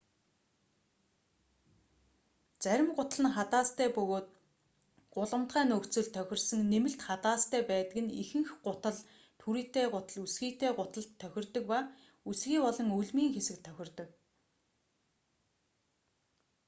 зарим гутал нь хадаастай бөгөөд гулгамтгай нөхцөлд тохирсон нэмэлт хадаастай байдаг нь ихэнх гутал түрийтэй гутал өсгийтэй гуталд тохирдог ба өсгий болон өлмийн хэсэгт тохирдог